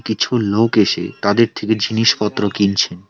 কিছু লোক এসে তাদের থেকে জিনিসপত্র কিনছেন।